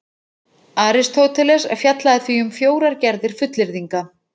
Aristóteles fjallaði því um fjórar gerðir fullyrðinga: